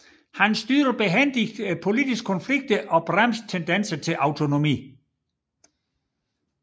Han styrede behændigt politiske konflikter og tøjlede tendenser til autonomi